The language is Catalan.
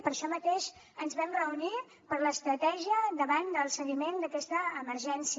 per això mateix ens vam reunir per l’estratègia davant del seguiment d’aquesta emergència